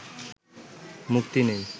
মুক্তি নেই